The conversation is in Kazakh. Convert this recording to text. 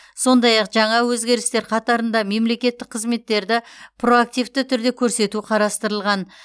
сондай ақ жаңа өзгерістер қатарында мемлекеттік қызметтерді проактивті түрде көрсету қарастырылған